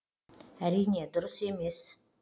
әрине дұрыс емес